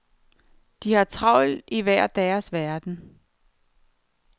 De har travlt i hver deres verden.